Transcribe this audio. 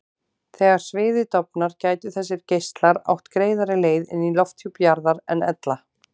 Þegar sviðið dofnar gætu þessir geislar átt greiðari leið inn í lofthjúp jarðar en ella.